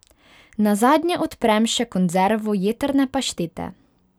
Nazadnje odprem še konzervo jetrne paštete.